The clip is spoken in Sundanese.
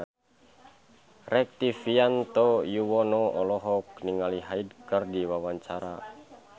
Rektivianto Yoewono olohok ningali Hyde keur diwawancara